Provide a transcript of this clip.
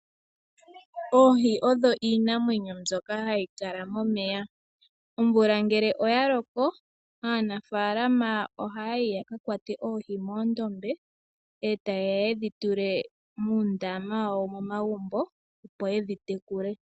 Oohi odho iinamwenyo mbyoka hayikala momeya. Omvula ngele oyaloko aanafaalama ohaya yi yakakwate oohi moondombe etayeya yedhitule moondama wo momagumbo opo yedhitekule.